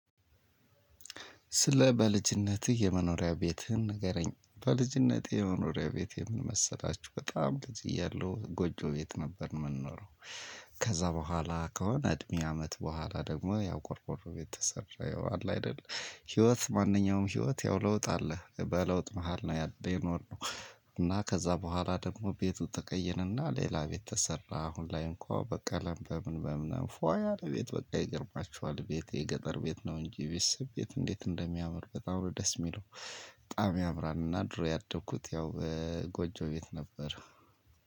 ስለ በልጅነትህ የመኖሪያ ቤትህን ንገረኝ? በልጅነትህ የመኖሪያ ቤትህ ምን መሰላችሁ በጣም ልጅ እያለው ጎጆ ቤት ነበር የምንኖረው። ከዛ በኋላ ከሆነ እድሜ አመት በኋላ ደግሞ ያው ቆርቆሮ ቤት ተሰራ፤ ይኸው አለ አይደል። ህይወት ማንኛውም ህይወት ያው ለውጥ አለ በለውጥ መሃል ነው ያለው የኖርነው። እና ከዛ በኋላ ደግሞ ቤቱ ተቀየረና ሌላ ቤት ተሰራ አሁን ላይ እንኳን በቀለም በምን በምን ፏ ያለ ቤት በቃ ይገርማችኋል ቤቴ ገጠር ቤት ነው እንጂ ቤት ስም ቤት እንደሚያምር በጣም ደስ የሚለው። በጣም ያምራልና ድሮ ያደግኩት ያው። ጎጆ ቤት ነበር።